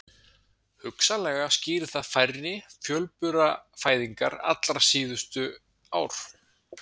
Hugsanlega skýrir það færri fjölburafæðingar allra síðustu ár.